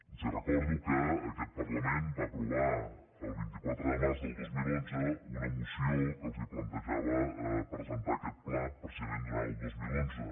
els recordo que aquest parlament va aprovar el vint quatre de març del dos mil onze una moció que els plantejava presentar aquest pla precisament durant el dos mil onze